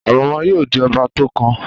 Àrẹ̀mọ yóò di ọba tó kàn.